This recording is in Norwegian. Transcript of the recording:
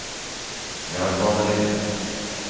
jernbanelinjen